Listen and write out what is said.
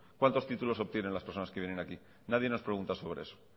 cuántos títulos obtienen las personas que vienen aquí nadie nos pregunta sobre eso